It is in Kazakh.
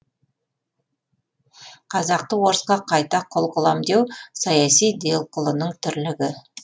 қазақты орысқа қайта құл қылам деу саяси делқұлының тірлігі